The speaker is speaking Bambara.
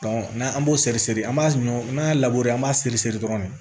n'an an b'o seri seri an b'a ɲɔ n'an y'a an b'a seriseri siri dɔrɔn